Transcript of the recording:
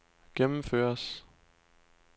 gennemføres